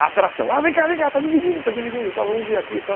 A atração, ah vem cá, vem cá, está dividindo, está dividindo tal, vamos ver aqui e tal.